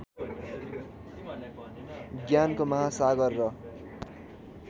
ज्ञानको महासागर र